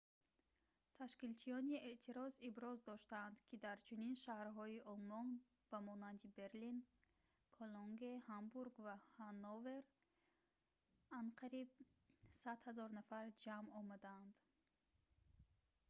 ташкилчиёни эътироз иброз доштанд ки дар чунин шаҳрҳои олмон ба монанди берлин кологне ҳамбург ва ҳанновер анқариб 100 000 нафар ҷамъ омадаанд